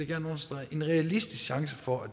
gerne understrege en realistisk chance for at